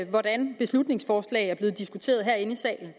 hvordan beslutningsforslag er blevet diskuteret herinde i salen